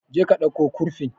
Je ka dauko kurfin